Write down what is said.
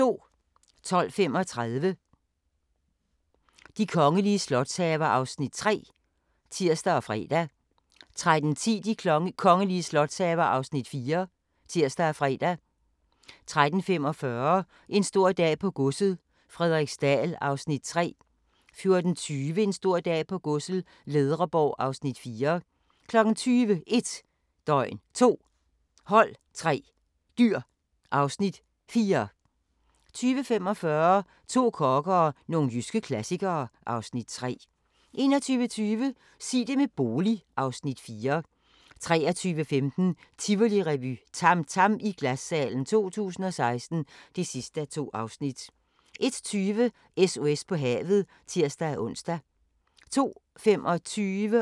12:35: De kongelige slotshaver (Afs. 3)(tir og fre) 13:10: De kongelige slotshaver (Afs. 4)(tir og fre) 13:45: En stor dag på godset - Frederiksdal (Afs. 3) 14:20: En stor dag på godset - Ledreborg (Afs. 4) 20:00: 1 døgn, 2 hold, 3 dyr (Afs. 4) 20:45: To kokke og nogle jyske klassikere (Afs. 3) 21:20: Sig det med bolig (Afs. 4) 23:15: Tivolirevy - TAM TAM i Glassalen 2016 (2:2) 01:20: SOS på havet (tir-ons) 02:25: Krop umulig – teenagere